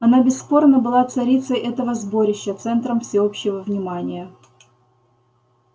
она бесспорно была царицей этого сборища центром всеобщего внимания